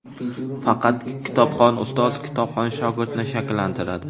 Faqat kitobxon ustoz kitobxon shogirdni shakllantiradi.